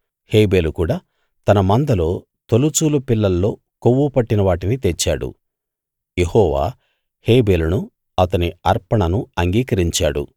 హేబెలు కూడా తన మందలో తొలుచూలు పిల్లల్లో కొవ్వు పట్టిన వాటిని తెచ్చాడు యెహోవా హేబెలును అతని అర్పణను అంగీకరించాడు